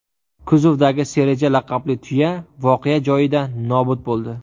Kuzovdagi Sereja laqabli tuya voqea joyida nobud bo‘ldi.